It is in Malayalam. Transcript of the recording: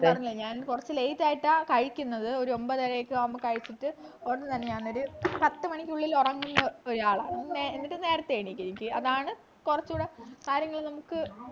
ഞാൻ പറഞ്ഞില്ലെ ഞാൻ കൊറച്ചു late ആയിട്ട കഴിക്കുന്നത് ഒരു ഒമ്പതരയൊക്കെയാവുമ്പോ കഴിച്ചിട്ട് ഉടൻ തന്നെ ഞാനൊരു പത്തുമണിക്കുള്ളിൽ ഉറങ്ങുന്ന ഒരാളാണ് എന്നിട്ടു നേരത്തെ എണീക്കും അതാണ് കൊറച്ചുകൂടെ കാര്യങ്ങള് നമ്മുക്ക്